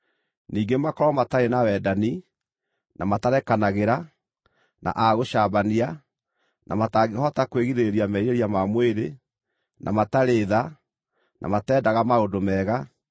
Ningĩ makorwo matarĩ na wendani, na matarekanagĩra, na a gũcambania, na matangĩhota kwĩgirĩrĩria merirĩria ma mwĩrĩ, na matarĩ tha, na matendaga maũndũ mega,